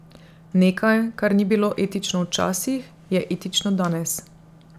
Nekaj, kar ni bilo etično včasih, je etično danes.